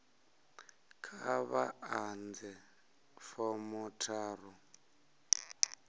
kha vha ḓadze fomo tharu